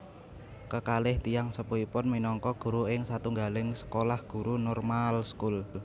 Kekalih tiyang sepuhipun minangka guru ing satunggaling sekolah guru Normaalschool